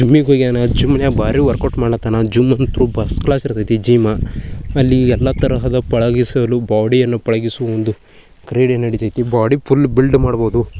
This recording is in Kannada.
ಜಿಮ್ ಈಗ್ ಹೋಗ್ಯಾನ ಜಿಮ್ ನ್ಯಾಗ್ ಬಾರಿ ವರ್ಕೌಟ್ ಮಾಡಕ್ಕತನ ಜಿಮ್ ಅಂತು ಫಸ್ಟ್ ಕ್ಲಾಸ್ ಇರತೈತಿ ಜಿಮ್ . ಅಲ್ಲಿ ಎಲ್ಲ ತರಹದ ಪಳಗಿಸಲು ಬಾಡಿ ಯನ್ನು ಪಳಗಿಸಲು ಒಂದು ಕ್ರೀಡೆನುಡಿತೈತಿ ಬಾಡಿ ಫುಲ್ ಬಿಲ್ಡ್ ಮಾಡಬಹುದು.